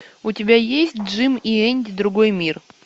у тебя есть джим и энди другой мир